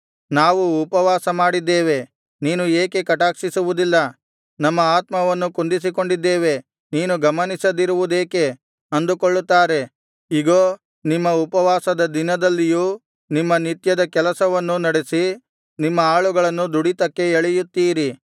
ನಾವು ಉಪವಾಸಮಾಡಿದ್ದೇವೆ ನೀನು ಏಕೆ ಕಟಾಕ್ಷಿಸುವುದಿಲ್ಲ ನಮ್ಮ ಆತ್ಮವನ್ನು ಕುಂದಿಸಿಕೊಂಡಿದ್ದೇವೆ ನೀನು ಗಮನಿಸದಿರುವುದೇಕೆ ಅಂದುಕೊಳ್ಳುತ್ತಾರೆ ಇಗೋ ನಿಮ್ಮ ಉಪವಾಸದ ದಿನದಲ್ಲಿಯೂ ನಿಮ್ಮ ನಿತ್ಯದ ಕೆಲಸವನ್ನು ನಡೆಸಿ ನಿಮ್ಮ ಆಳುಗಳನ್ನು ದುಡಿತಕ್ಕೆ ಎಳೆಯುತ್ತೀರಿ